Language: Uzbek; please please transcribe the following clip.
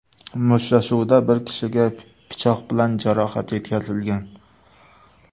Mushtlashuvda bir kishiga pichoq bilan jarohat yetkazilgan.